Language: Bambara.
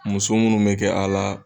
Muso munnu bɛ kɛ a la.